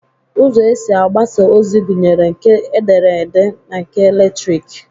Ụzọ esi agbasa ozi gụnyere nke edere ede na nke eletriki